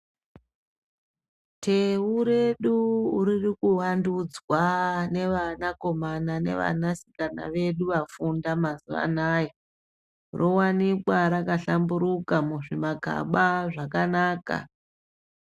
Thewu redu ririkuvandudzwa nevanakomana nevanasikana vedu vafunda mazuwanaya. Rowanika rakahlamburuka muzvimagaba zvakanaka.